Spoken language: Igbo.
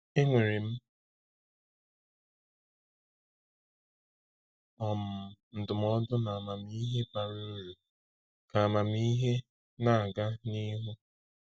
“Enwere m um ndụmọdụ na amamihe bara uru,” ka amamihe na-aga n’ihu.